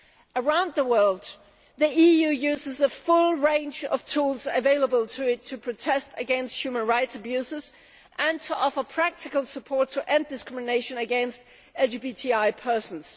Around the world, the EU uses the full range of tools available to it to protest against human rights abuses and to offer practical support to end discrimination against LGBTI persons.